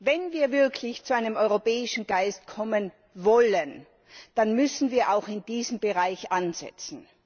Wenn wir wirklich zu einem europäischen Geist kommen wollen, dann müssen wir auch in diesem Bereich ansetzen.